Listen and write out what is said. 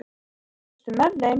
Þjóðgeir, ekki fórstu með þeim?